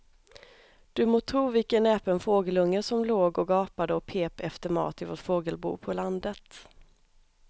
Du må tro vilken näpen fågelunge som låg och gapade och pep efter mat i vårt fågelbo på landet.